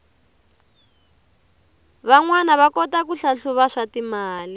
vanwana va kota ku hlahluva swatimali